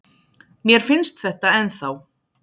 Mér finnst þetta ennþá.